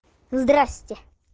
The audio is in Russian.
здравствуйте